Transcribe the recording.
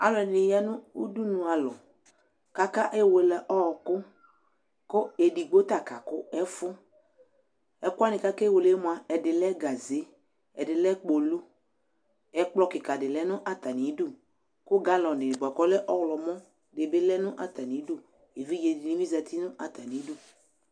Alʋɛdɩnɩ ya nʋ udunu alɔ kʋ akewele ɔɣɔkʋ kʋ edigbo ta kakʋ ɛfʋ Ɛkʋ wanɩ kʋ akewele yɛ mʋa, ɛdɩ lɛ gaze, ɛdɩ lɛ kpolu, ɛkplɔ kɩka dɩ lɛ nʋ atamɩdu kʋ galɔnɩ bʋa kʋ ɔlɛ ɔɣlɔmɔ dɩ bɩ lɛ nʋ atamɩdu Evidze dɩnɩ bɩ zati nʋ atamɩdu